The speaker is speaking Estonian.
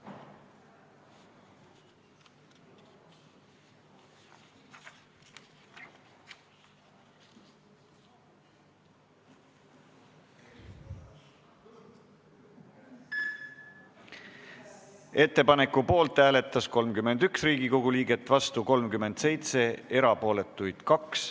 Hääletustulemused Ettepaneku poolt hääletas 31 Riigikogu liiget, vastu oli 37, erapooletuks jäi 2.